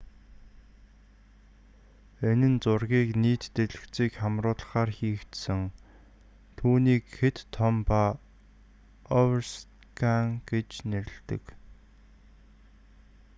энэ нь зургийг нийт дэлгэцийг хамруулахаар хийгдсэн түүнийг хэт том ба оверскан гэж нэрэлдэг